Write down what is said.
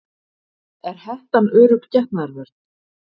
Er hettan örugg getnaðarvörn?